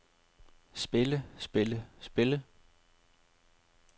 spille spille spille